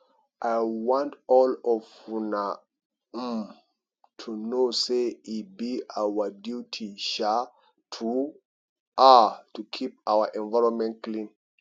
i want all of una um to know say e be our duty um to um to keep our environment clean